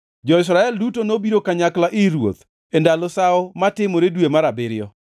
Jo-Israel duto nobiro kanyakla ir ruoth e ndalo Sawo matimore dwe mar abiriyo.